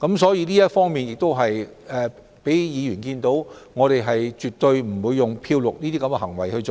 所以這方面能讓議員看到，我們絕不會"漂綠"項目。